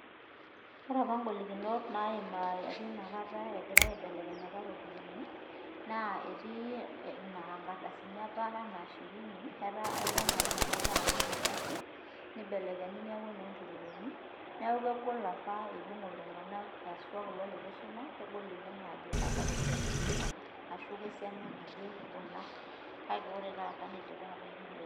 Ore apa ingolikinot apa naayimari inakata engirai aibelekeny iropiyiani naa, etii naa inkardasini apana ana shirini, eton apa inakata aa ne enkardasi neibelekenyi niaku inoo ntururuni niaku kegol apa eibung iltunganak haswa apa lelo leitu eisuma aajo kawa ropiyiani kuna ashuu kesiana naje kuna kake ore taata neidipa ataoyiolo